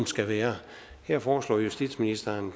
skal være her foreslår justitsministeren